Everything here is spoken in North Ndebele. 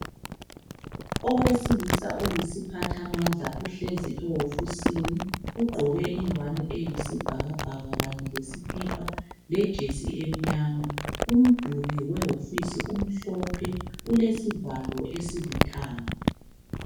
Owesilisa oyisiphathamandla uhlezi ehofisini ugqoke ingwane eyisibhakabhaka kanye lesikipa lejesi emnyama. Umduli wehofisi umhlophe ulesivalo esilithanga.